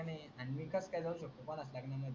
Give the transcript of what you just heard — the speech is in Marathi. अन makeup केल्यावर शेवटी बोलच लागेल न म्हणे